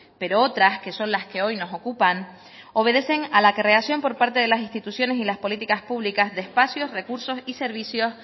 pero otras que son las que hoy nos ocupan obedecen a la creación por parte de las instituciones y las políticas públicas de espacios recursos y servicios